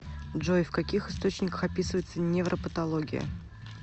джой в каких источниках описывается невропатология